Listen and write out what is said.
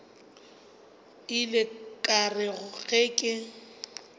ile ka re ge ke